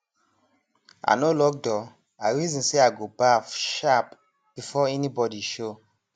i no lock door i reason say i go baff sharp before anybody show